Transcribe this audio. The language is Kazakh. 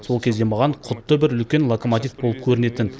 сол кезде маған құдды бір үлкен локомотив болып көрінетін